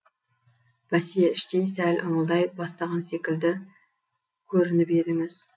бәсе іштей сәл ыңылдай бастаған секілді көрініп едіңіз